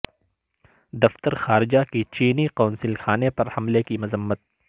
دفتر خارجہ کی چینی قونصل خانے پر حملے کی مذمت